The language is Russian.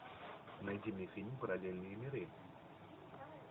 найди мне фильм параллельные миры